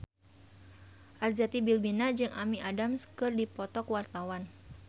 Arzetti Bilbina jeung Amy Adams keur dipoto ku wartawan